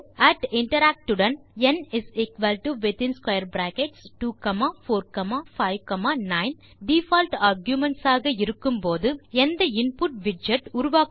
interact உடன் ந் 2 4 5 9 default arguments ஆக இருக்கும் போது எந்த இன்புட் விட்ஜெட் உருவாக்கப்படுகிறது